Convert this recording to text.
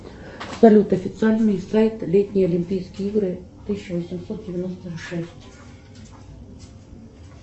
салют официальный сайт летние олимпийские игры тысяча восемьсот девяносто шесть